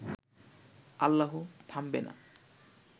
আল্লাহু থামবে না